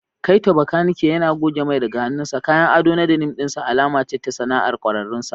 Kaito, makaniki, yana goge mai daga hannunsa, kayan ado na denim ɗin sa alama ce ta sana'ar ƙwararrun sa.